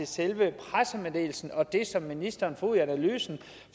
selve pressemeddelelsen og det som ministeren får ud af analysen